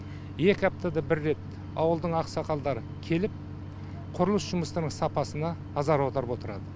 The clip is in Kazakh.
екі аптада бір рет ауылдың ақсақалдары келіп құрылыс жұмыстарының сапасына назар аударып отырады